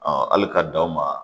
hali ka danw ma